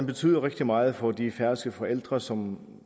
betyder rigtig meget for de færøske forældre som